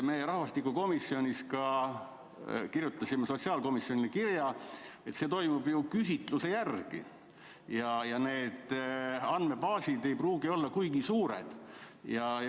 Me rahvastikukomisjonis ka kirjutasime sotsiaalkomisjonile kirja, et see toimub ju küsitluse järgi ja need andmebaasid ei pruugi olla kuigi suured.